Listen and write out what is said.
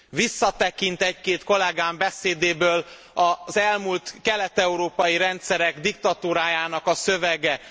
Visszatekint egy két kollegám beszédéből az elmúlt kelet európai rendszerek diktatúrájának a szövege.